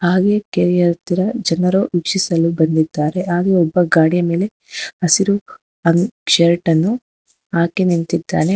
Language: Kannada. ಹಾಗೆ ಕೆರೆ ಹತ್ತಿರ ಜನರು ವೀಕ್ಷಿಸಲು ಬಂದಿದ್ದಾರೆ ಆಗೆ ಒಬ್ಬ ಗಾಡಿಯ ಮೇಲೆ ಹಸಿರು ಅಂಗ್ ಶರ್ಟ್ ಅನ್ನು ಹಾಕಿ ನಿಂತಿದ್ದಾನೆ.